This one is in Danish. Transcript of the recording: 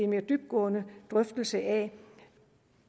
mere dybtgående drøftelse af